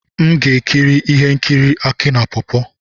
M ga-ekiri ihe nkiri Aki na pawpaw.